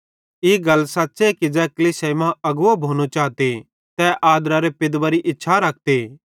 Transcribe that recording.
ई गल सच़्च़े कि ज़ै कलीसियाई मां अगवो भोनो चाते त तै आदरारे पदेरी इच्छा रखते